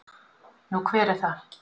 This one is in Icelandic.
Nú, hver er það?